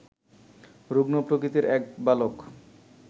রুগ্ন প্রকৃতির এক বালক